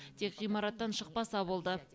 тек ғимараттан шықпаса болды